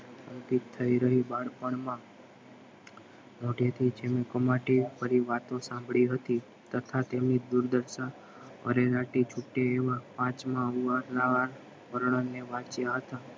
થઈ રહ્યો બાળપણમાં મોઢેથી વાતો સાંભળી હતી તથા તેમને દૂર રસ્તા હતા